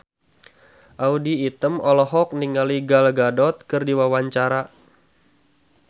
Audy Item olohok ningali Gal Gadot keur diwawancara